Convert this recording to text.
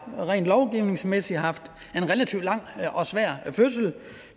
rent lovgivningsmæssigt har haft en relativt lang og svær fødsel